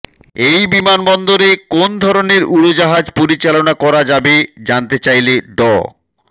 এই বিমানবন্দরে কোন ধরনের উড়োজাহাজ পরিচালনা করা যাবে জানতে চাইলে ড